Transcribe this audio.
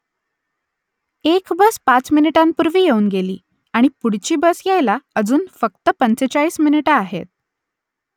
एक बस पाच मिनिटांपूर्वी येऊन गेली आणि पुढची बस यायला अजून फक्त पंचेचाळीस मिनिटं आहेत